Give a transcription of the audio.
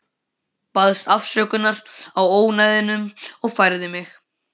Baðst afsökunar á ónæðinu og færði mig.